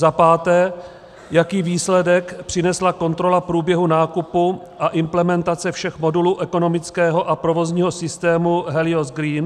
Za páté: Jaký výsledek přinesla kontrola průběhu nákupu a implementace všech modulů ekonomického a provozního systému Helios Green?